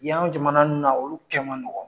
Yan jamana ninnu na , olu kɛ man nɔgɔ.